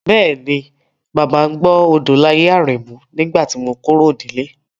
Bẹ́ẹ̀ni, Bàbá ń gbọ́ Odolaye Aremu nígbà tí mo kúrò nílé.